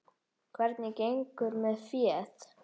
Hvernig gengur með féð?